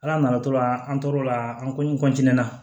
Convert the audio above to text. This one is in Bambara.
Ala nana to la an tor'o la an ko n na